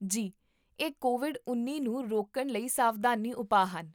ਜੀ, ਇਹ ਕੋਵਿਡ ਉੱਨੀ ਨੂੰ ਰੋਕਣ ਲਈ ਸਾਵਧਾਨੀ ਉਪਾਅ ਹਨ